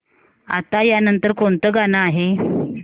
आता या नंतर कोणतं गाणं आहे